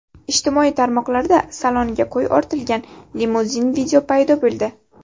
Ijtimoiy tarmoqlarda saloniga qo‘y ortilgan limuzin video paydo bo‘ldi.